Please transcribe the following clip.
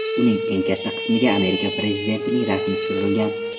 Uning eng katta qismiga Amerika prezidentining rasmi tushirilgan.